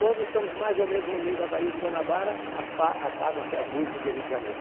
Quando estamos mais ou menos no meio da Baía de Guanabara, aspa apagam-se as luzes do Rio de Janeiro.